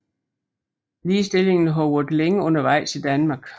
Ligestillingen har været længe undervejs i Danmark